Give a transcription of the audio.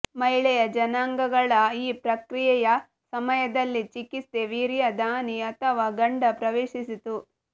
ಮಹಿಳೆಯ ಜನನಾಂಗಗಳ ಈ ಪ್ರಕ್ರೀಯೆಯ ಸಮಯದಲ್ಲಿ ಚಿಕಿತ್ಸೆ ವೀರ್ಯ ದಾನಿ ಅಥವಾ ಗಂಡ ಪ್ರವೇಶಿಸಿತು